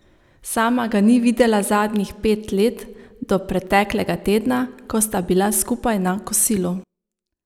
Sama ga ni videla zadnjih pet let do preteklega tedna, ko sta bila skupaj na kosilu.